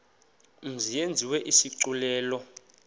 mzi yenziwe isigculelo